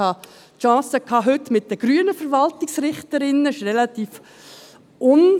Ich hatte heute mit den grünen Verwaltungsrichterinnen die Gelegenheit dazu.